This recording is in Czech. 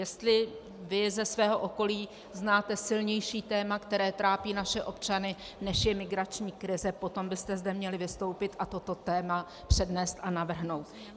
Jestli vy ze svého okolí znáte silnější téma, které trápí naše občany, než je migrační krize, potom byste zde měli vystoupit a toto téma přednést a navrhnout.